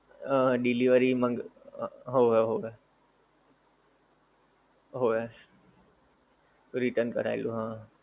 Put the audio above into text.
હમ delivery મંગાવી હોવે હોવે હોવે return કરાવેલું હા